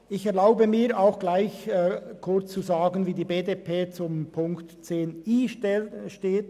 Ich erlaube mir, an dieser Stelle kurz zu sagen, wie die BDP zum Themenblock 10.i steht: